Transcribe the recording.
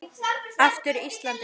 Aftur Ísland.